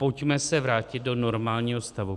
Pojďme se vrátit do normálního stavu.